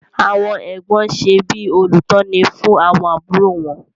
Àwọn Ẹ̀gbọ́n ṣe bí olùtọ́ni fún àwọn àbúrò wọn.